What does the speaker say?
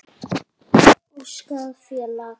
Óskráð félag.